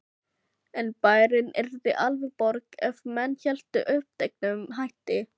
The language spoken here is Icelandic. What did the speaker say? En bærinn yrði aldrei borg ef menn héldu uppteknum hætti.